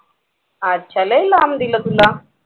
अच्छा अच्छा लई लांब दिलं तू